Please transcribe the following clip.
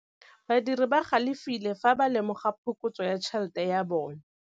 Badiri ba galefile fa ba lemoga phokotsô ya tšhelête ya bone.